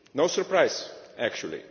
No surprise, actually!